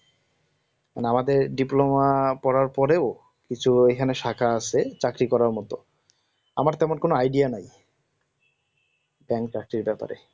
আমাদের diploma করার পরেও কিছু এখানে শাখা আছে চাকরি করার মত আমার তেমন কোন idea নাই bank চাকরির ব্যাপারে